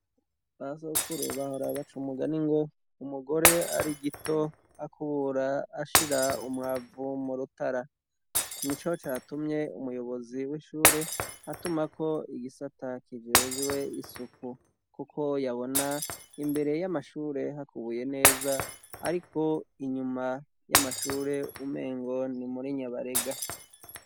Ba sokuru bahora baca umugani ngo: "umugore ari igito akubura ashira umwavu mu rutara". Nico catumye umuyobozi w'ishure atumako igisata kijejwe isuku kuko yabona imbere y'amashure hakubuye neza ariko inyuma y'amashure umengo ni muri nyabarega.